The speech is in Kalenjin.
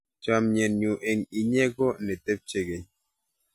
Chamyenyu eng inye ko netepche keny